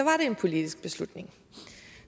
en politisk beslutning